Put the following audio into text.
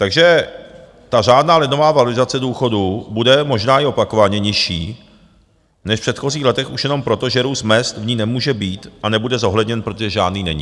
Takže ta řádná lednová valorizace důchodů bude možná i opakovaně nižší než v předchozích letech už jenom proto, že růst mezd v ní nemůže být a nebude zohledněn, protože žádný není.